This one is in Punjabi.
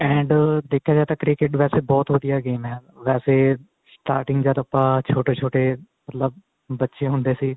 and ਦੇਖਿਆ ਜਾਏ ਤਾਂ cricket ਵੈਸੇ ਬਹੁਤ ਵਧੀਆ game ਏ ਵੈਸੇ starting ਜਦ ਆਪਾਂ ਛੋਟੇ ਛੋਟੇ ਮਤਲਬ ਬੱਚੇ ਹੁੰਦੇ ਸੀ